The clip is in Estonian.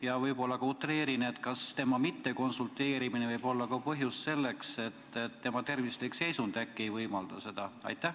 Ja võib-olla ma utreerin, ent küsin: kas mittekonsulteerimise põhjus võib olla see, et tema tervislik seisund ei võimalda seda?